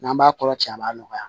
N'an b'a kɔrɔ ci a b'a nɔgɔya